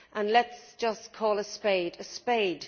Let us just call a spade a spade.